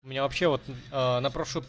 у меня вообще вот на